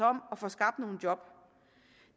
om at få skabt nogle job